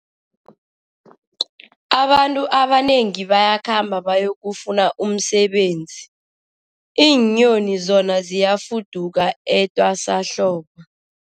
Abantu abanengi bayakhamba bayokufuna umsebenzi, iinyoni zona ziyafuduka etwasahlobo.